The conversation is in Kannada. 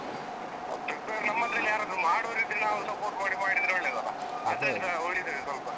Prepare ನಮ್ಮದ್ರಲ್ಲಿ ಯಾರಾದ್ರೂ ಮಾಡುವವರಿದ್ರೆ ನಾವು support ಮಾಡಿ ಮಾಡಿದ್ರೆ ಒಳ್ಳೆದಲ್ಲ? ಅದ್ರಲ್ಲಿಸಾ ಉಳಿತದೆ ಸ್ವಲ್ಪ.